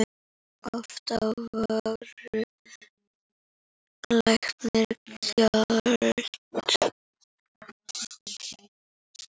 Oft á vöru lækkað gjald.